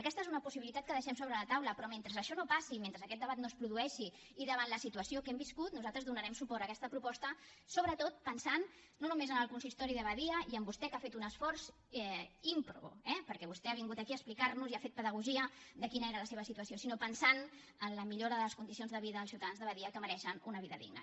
aquesta és una possibilitat que deixem sobre la taula però mentre això no passi mentre aquest debat no es produeixi i davant la situació que hem viscut nosaltres donarem suport a aquesta proposta sobretot pensant no només en el consistori de badia i en vostè que ha fet un esforç ímprobe perquè vostè ha vingut aquí a explicar nos i ha fet pedagogia de quina era la seva situació sinó pensant en la millora de les condicions de vida dels ciutadans de badia que mereixen una vida digna